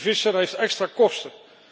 En die visser heeft extra kosten!